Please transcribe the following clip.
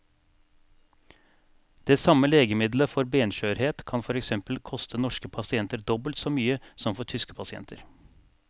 Det samme legemiddelet for benskjørhet kan for eksempel koste norske pasienter dobbelt så mye som for tyske pasienter.